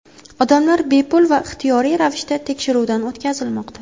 Odamlar bepul va ixtiyoriy ravishda tekshiruvdan o‘tkazilmoqda.